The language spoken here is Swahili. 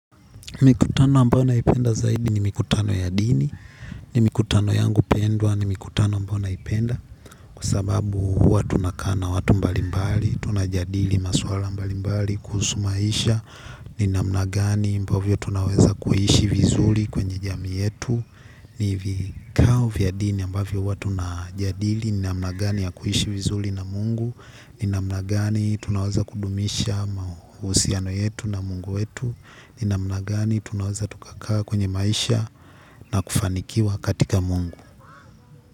Mikutano ambayo naipenda zaidi ni mikutano ya dini, ni mikutano yangu pendwa, ni mikutano ambayo naipenda. Kwa sababu watu tunakaa na watu mbalimbali, tunajadili masuala mbalimbali kuhusu maisha, ni jinsi gani, mfano tunaweza kuishi vizuri katika jamii yetu. Ni vikao vya dini ambavyo huwa tunajadili, ni jinsi gani ya kuishi vizuri na Mungu, ni jinsi gani tunaweza kudumisha uhusiano wetu na Mungu wetu. Ni namna gani tunaweza tukakaa katika maisha na kufanikiwa katika Mungu.